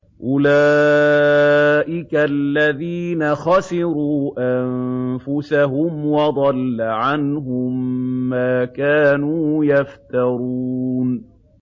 أُولَٰئِكَ الَّذِينَ خَسِرُوا أَنفُسَهُمْ وَضَلَّ عَنْهُم مَّا كَانُوا يَفْتَرُونَ